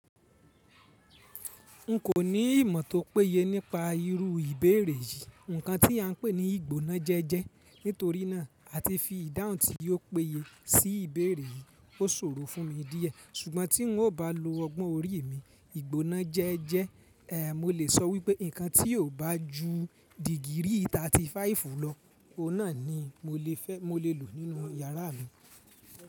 N kò ní ìmọ̀ tó péye nípa irú ìbéèrè yìí, ǹkan tí a ń pè ní ìgbónájẹ́jẹ́. Nítorí náà, à ti fi ìdáhùn tí ò péye sí ìbéèrè yìí o sórò fún mi díẹ̀. Ṣùgbọ́n tí n ò bá lo ọgbọ́n orí mi, ìgbónájẹ́jẹ́, eh, mo lè sọ wípé ǹkan tí i ó bá ju dìgiri 35 lọ, ó náà ni mo lè fẹ́, mo lè lò nínú yàrá mi.